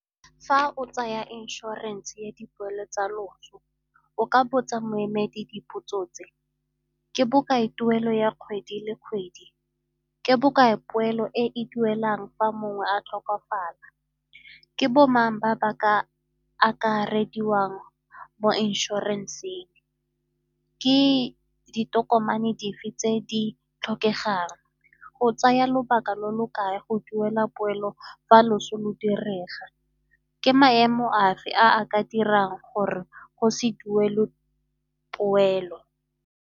Fa o tsaya inšorense ya dipoelo tsa loso o ka botsa moemedi dipotso tse, ke bokae tuelo ya kgwedi le kgwedi, ke bokae poelo e duelang fa mongwe a tlhokafala, ke bomang ba ba ka akarediwang mo inšorenseng, ke ditokomane dife tse di tlhokegang, go tsaya lobaka lo lo kae go duela poelo fa loso lo direga, ke maemo afe a a ka dirang gore go se duele poelo.